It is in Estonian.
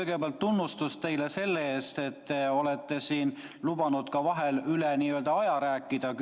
Kõigepealt tunnustus teile selle eest, et olete küsimuste puhul lubanud vahel ka üle aja rääkida.